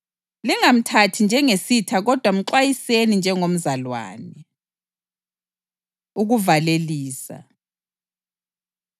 Lingamthathi njengesitha kodwa mxwayiseni njengomzalwane. Ukuvalelisa